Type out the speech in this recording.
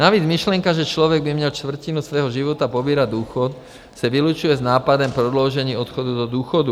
Navíc myšlenka, že člověk by měl čtvrtinu svého života pobírat důchod, se vylučuje s nápadem prodloužení odchodu do důchodu.